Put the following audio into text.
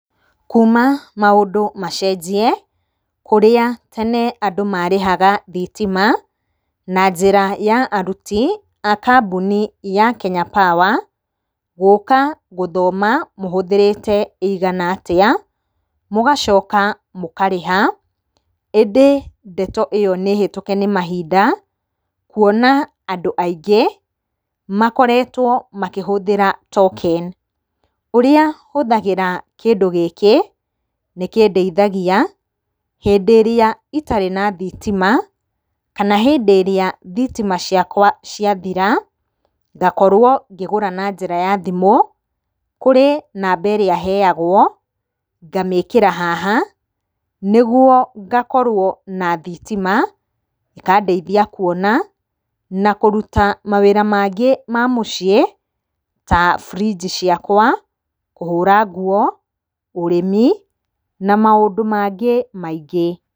Kuma maũndũ macenjie kũrĩa tene andũ marĩhaga thitima na njĩra ya aruti a kambuni ya Kenya Power, gũka gũthoma mũhũthĩrĩte ĩigana atĩa, mũgacoka mũkarĩha, ĩndĩ ndeto ĩyo nĩ hĩtũke nĩ mahinda, kuona andũ aingĩ makoretwo makĩhũthĩra token. Ũrĩa hũthagĩra kĩndũ gĩkĩ nĩkĩndeithagia, hĩndĩ ĩrĩa itarĩ na thitima kana hĩndĩ ĩrĩa thitima ciakwa ciathira, ngakorwo ngĩgũra na njĩra ya thimũ, kũrĩ namba ĩrĩa heyagwo, ngamĩkĩra haha nĩguo ngakorwo na thitima, ĩkandeithia kuona na kũruta mawĩra mangĩ ma mũciĩ, ta burinji ciakwa, kũhũra nguo, ũrĩmi na maũndũ mangĩ maingĩ.